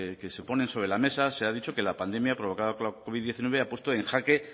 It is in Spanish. que se ponen sobre la mesa se ha dicho que la pandemia ha provocado el covid diecinueve ha puesto en jaque